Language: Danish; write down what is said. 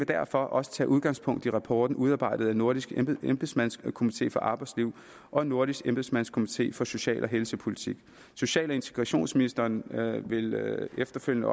derfor også tage udgangspunkt i rapporten udarbejdet af nordisk embedsmandskomité for arbejdsliv og nordisk embedsmandskomité for social og helsepolitik social og integrationsministeren vil efterfølgende